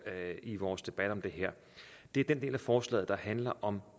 i vores debat om det her er den del af forslaget der handler om